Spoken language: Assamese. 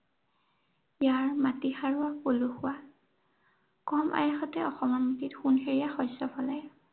ইয়াৰ মাটি সাৰুৱা, পলসুৱা। কম আয়াসতে অসমৰ মাটিত সোণ সেৰিয়া শস্য় ফলে।